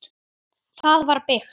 Það var byggt